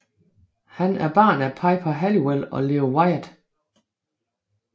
Han er barn af Piper Halliwell og Leo Wyatt